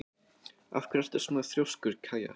Af hverju ertu svona þrjóskur, Kaja?